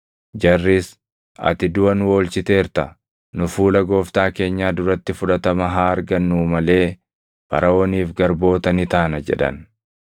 Jarris, “Ati duʼa nu oolchiteerta; nu fuula gooftaa keenyaa duratti fudhatama haa argannuu malee Faraʼooniif garboota ni taana” jedhan.